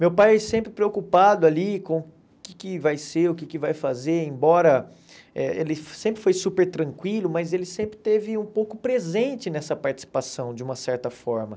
Meu pai sempre preocupado ali com o que que vai ser, o que que vai fazer, embora eh ele sempre foi super tranquilo, mas ele sempre teve um pouco presente nessa participação, de uma certa forma.